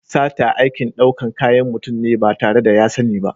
Sata aikin ɗaukan kayan mutum ne ba tare da ya sani ba.